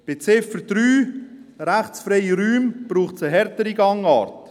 Was Ziffer 3, die rechtsfreien Räume anbelangt, braucht es eine härtere Gangart.